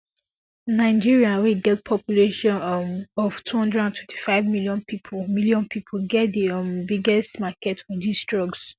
nigeria wey get population um of two hundred and twenty five million pipo million pipo get di um biggest market for dis drugs